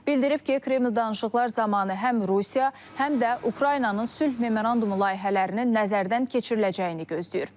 Bildirib ki, Kreml danışıqlar zamanı həm Rusiya, həm də Ukraynanın sülh memorandumu layihələrinin nəzərdən keçiriləcəyini gözləyir.